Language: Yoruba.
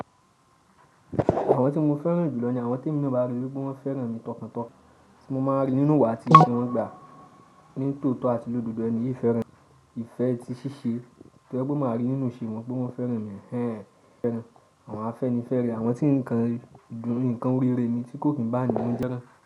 Àwọn tí mo fẹ́ràn jù lọ ní àwọn tí emi naa bá rí wípe wọ́n fẹ́ràn mi tọkàntọkàn, tí mo máa ń rí nínú ìwà àti ìṣẹ̀ wọn pe ní tòótọ́ àti lódodo ẹni yìí fẹ́ràn, ìfẹ́ tí ṣì ṣe to je pé máa rí nínú ìṣe wọn pé wọ́n fẹ́ràn mi ehẹ́en. Àwọn afẹ́nifẹ rẹ̀, àwọn tí ǹkan, ǹkan orírẹ̀ mi tí kò kí n báwon nu jẹ́